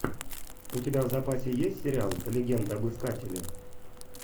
у тебя в запасе есть сериал легенда об искателе